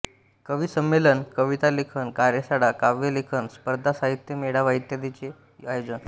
कविसंमेलने कवितालेखन कार्यशाळा काव्यलेखन स्पर्धा साहित्य मेळावा इत्यादीचे आयोजन